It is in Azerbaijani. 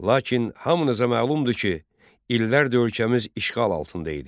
Lakin hamınıza məlumdur ki, illərdir ölkəmiz işğal altında idi.